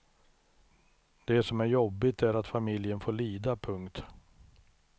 Det som är jobbigt är att familjen får lida. punkt